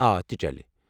آ، تہِ چلہِ ۔